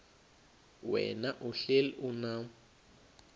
wena uhlel unam